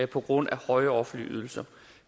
på grund af høje offentlige ydelser